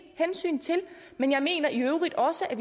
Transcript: hensyn til men jeg mener i øvrigt også at